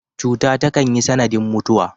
Cuta takan yi sanadin mutuwa.